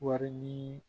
Wari ɲini